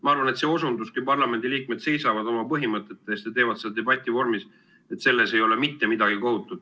Ma arvan, see osundus, et kui parlamendi liikmed seisavad oma põhimõtete eest ja teevad seda debati vormis, siis selles ei ole mitte midagi kohatut.